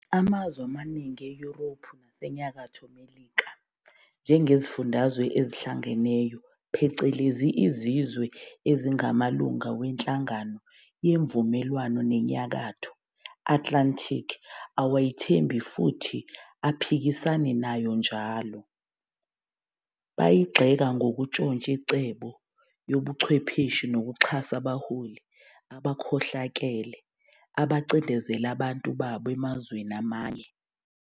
Amazwe amaningi eYuropu naseNyakatho Melika njengeziFundazwe eziHlangeneyo phecelezi izizwe ezingamalunga weNhlangano Yemvumelano yeNyakatho Atlantic awayithembi futhi aphikisana nayo njalo, bayigxeka ngokutshontsha incebo yobuchwepeshi nokuxhasa abaholi abakhohlakele abacindezela abantu babo emazweni amanye.